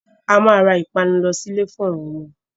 A máa ra ìpanu lọ sílè fún àwọn ọmọ.